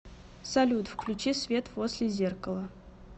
салют включи свет возле зеркала